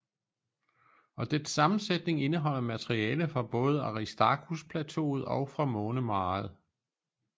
Og dets sammensætning indeholder materiale fra både aristarchusplateauet og fra månemaret